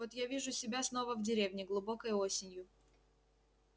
вот я вижу себя снова в деревне глубокой осенью